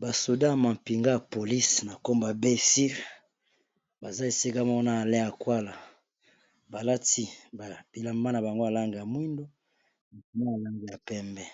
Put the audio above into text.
Ba soldats ya mampinga ya police na kombo ya sire baza esika moko na ala yakuala balati bilamba na bango ya langi ya mwindu ya langi ya pembe